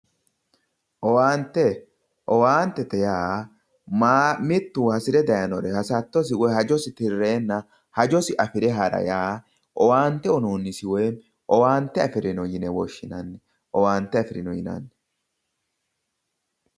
Owaante, owaantete yaa mittu hasire daayiinore asattosi woyi hajosi tirreeenna hajosi afire hara yaa owaante uuyiinonnisi woyim owaante afirino yine woshshinanni. Owaante afirino yinanni